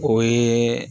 O ye